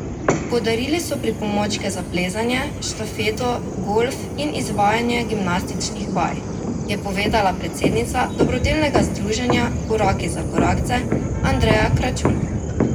Podarili so pripomočke za plezanje, štafeto, golf in izvajanje gimnastičnih vaj, je povedala predsednica dobrodelnega združenja Koraki za korakce Andreja Kračun.